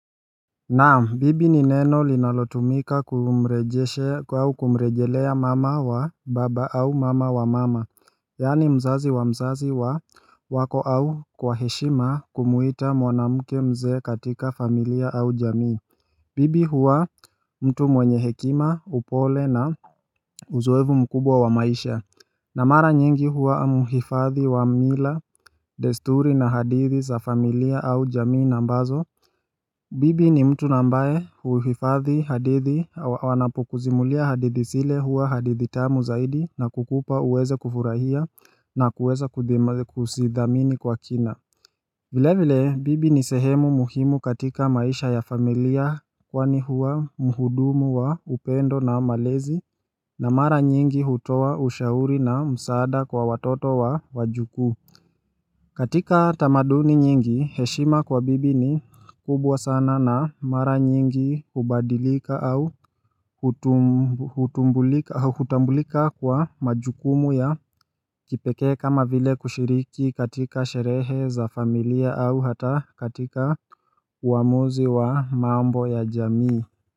Naam bibi ni neno linalotumika kumrejeleshea au kumrejelea mama wa baba au mama wa mama Yani mzazi wa mzazi wa wako au kwa heshima kumuita mwanamke mzee katika familia au jamii bibi huwa mtu mwenye hekima, upole na uzoevu mkubwa wa maisha. Na mara nyingi huwa muhifadhi wa mila, desturi na hadithi za familia au jamii nambazo bibi ni mtu nambaye huifafadhi hadithi wa wanapukuzimulia hadithi sile huwa hadithi tamu zaidi na kukupa uweze kufurahia na kueza kusidhamini kwa kina. Vile vile bibi ni sehemu muhimu katika maisha ya familia kwani huwa muhudumu wa upendo na malezi na mara nyingi hutoa ushauri na msaada kwa watoto wa wajukuu. Katika tamaduni nyingi heshima kwa bibi ni kubwa sana na mara nyingi hubadilika au hutum kutambulika kwa majukumu ya kipekee kama vile kushiriki katika sherehe za familia au hata katika uamuzi wa mambo ya jamii.